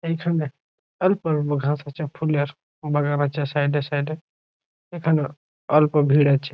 এইখানে অল্প ঘাস আছে ফুলের বাগান আছে সাইড এ সাইড এ এখানে অল্প ভিড় আছে।